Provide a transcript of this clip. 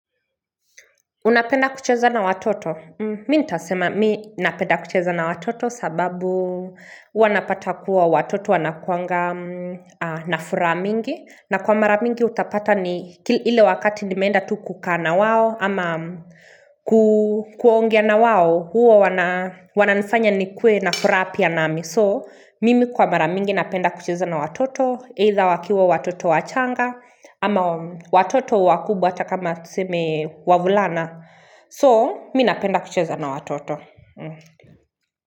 Unapenda kuchezana na watoto? Mi ntasema mi napenda kucheza na watoto sababu huwa napata kuwa watoto wanakuanga na furaha mingi. Na kwa mara mingi utapata ni ki ile wakati nimeenda tu kukaa na wao ama kuu kuongea na wao, hua wana wananifanya nikuwe na furaha pia nami so Mimi kwa mara mingi napenda kucheza na watoto either wakiwa watoto wachanga ama watoto wakubwa hata kama tuseme wavulana. So, mi napenda kucheza na watoto.